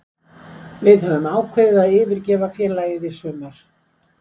Við höfum ákveðið að yfirgefa félagið í sumar.